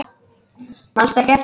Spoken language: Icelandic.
Manstu ekki eftir þeim?